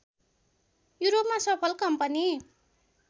युरोपमा सफल कम्पनी